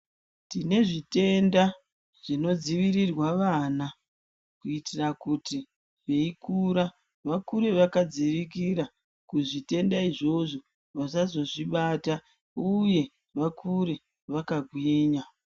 Tine zvitenda zvinodzivirirwe vana kuitire kuti veikura, vakure vakadzivirirwa kuzvitenda izvozvo vasazozvibata uye vakure vakagwinya.